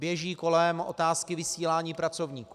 Běží kolem otázky vysílání pracovníků.